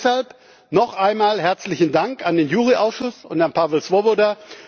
Deshalb noch einmal herzlichen Dank an den JURI Ausschuss und an Pavel Svoboda.